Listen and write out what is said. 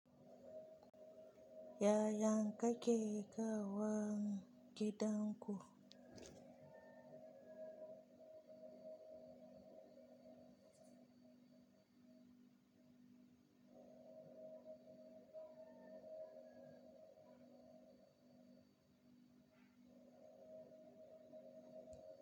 Yayan ka ke kawon gidan ku?